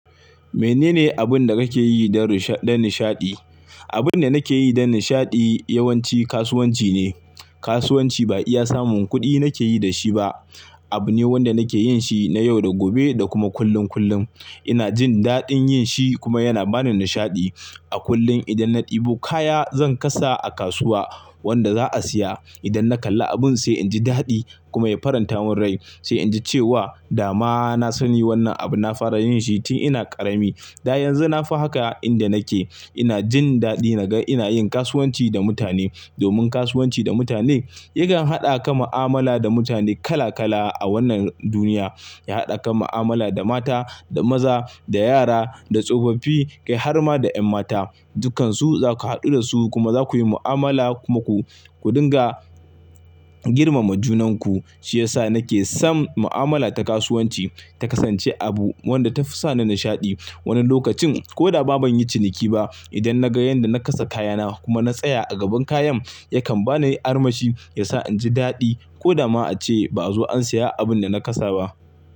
Menene abin da kake yi don nishaɗi? Abin da nake yi don nishaɗi yawanci kasuwanci ne. Kasuwanci ba iya samun kuɗi nake yi da shi ba, abu ne wanda nake yin shi na yau da gobe da kuma kullum kullum. Ina jin daɗin yin shi kuma yana ba ni nishaɗi. A kullum idan na ɗebo kaya zan kasa a kasuwa wanda za a siya. Idan na kalla abun sai inji daɗi kuma ya faranta mun rai sai inji cewa dama na sani wannan abu na fara yin shi tun ina ƙarami. Da yanzu na fi haka a inda nake ina jin daɗi naga ina yin kasuwanci da mutane. Domin kasuwanci da mutane yakan haɗa ka mu'amala da mutane kala kala a wannan duniya. Ya haɗa ka mu'amala da mata, da maza, da yara, da tsofaffi, kai har ma da 'yan mata, dukkansu zaku hadu dasu kuma zakuyi mu'amala kuma ku dunga girmama junanku. Shi yasa nake son mu'amala ta kasuwanci ta kasance abu wanda ta fi sa ni nishaɗi. Wani lokacin ko da ba bani yi ciniki ba idan naga yanda na kasa kayana kuma na tsaya a gaban kayan yakan bani armashi yasa inji daɗi ko da ma ace ba'a zo an siya abun da na kasa ba.